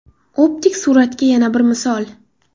Optik suratga yana bir misol.